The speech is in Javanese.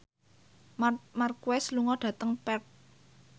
Marc Marquez lunga dhateng Perth